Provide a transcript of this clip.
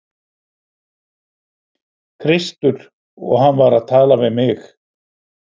Kristur og hann var að tala við mig.